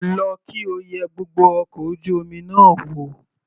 Lọ kí o yẹ gbogbo ọkọ̀ ojú omi náà wò.